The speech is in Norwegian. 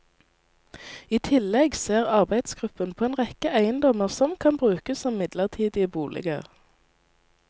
I tillegg ser arbeidsgruppen på en rekke eiendommer som kan brukes som midlertidige boliger.